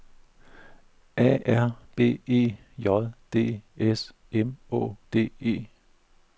A R B E J D S M Å D E